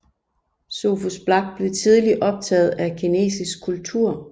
Sophus Black blev tidligt optaget af kinesisk kultur